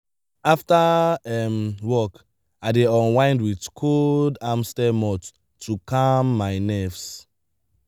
after um work i dey unwind with cold amstel malt to calm my nerves.